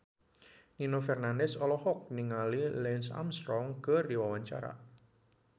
Nino Fernandez olohok ningali Lance Armstrong keur diwawancara